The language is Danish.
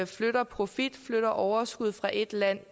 flytter profit flytter overskud fra et land